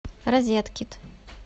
розеткит